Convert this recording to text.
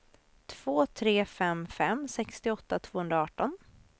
två tre fem fem sextioåtta tvåhundraarton